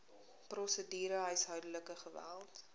prosedure huishoudelike geweld